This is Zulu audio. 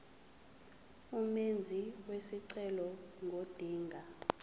umenzi wesicelo ngodinga